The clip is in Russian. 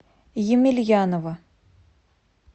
емельянова